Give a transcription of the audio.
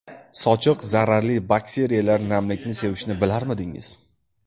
Sochiq Zararli bakteriyalar namlikni sevishini bilarmidingiz?